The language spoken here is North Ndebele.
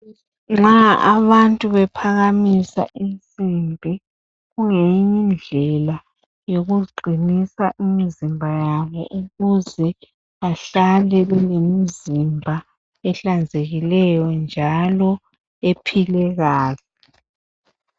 Nxa abantu bephakamisa insimbi, kungeyinyindlela yokuziqinisa imizimba yabo, ukuze bahlale belemizimba ehlanzekileyo njalo ephilekahle.